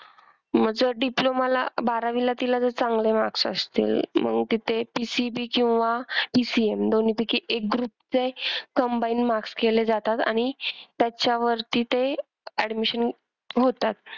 मग जर diploma ला बारावीला तिला जर चांगले marks असतील मग तिथे PCB किंवा PCM दोनपैकी एक group चे combine marks केले जातात आणि त्याच्यावरती ते admission होतात.